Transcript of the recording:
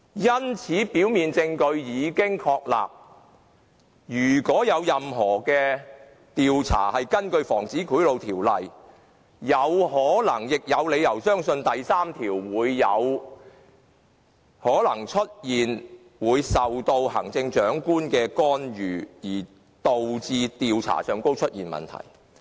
因此，雖然表面證據已經確立，但如果任何調查是根據《防止賄賂條例》進行的，我們便有可能亦有理由相信第3條會出現受到行政長官干預而導致調查出現問題。